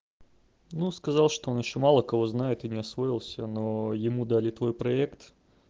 ну сказал что он ещё мало кого знаю ты не освоился но ему дали твой проект